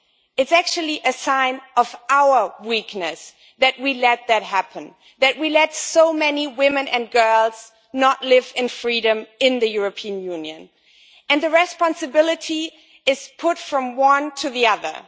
It is actually a sign of our weakness that we let this happen, that we let so many women and girls not live in freedom in the European Union, and the responsibility is put from one to the other.